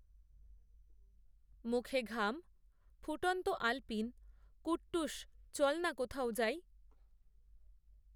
মুখে ঘাম, ফুটন্ত আলপিন, কূট্টুস চল না কোথাও যাই